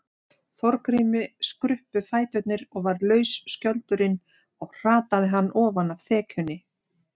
Þorgrími skruppu fæturnir og varð laus skjöldurinn og hrataði hann ofan af þekjunni.